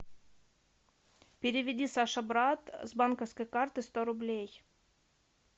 переведи саша брат с банковской карты сто рублей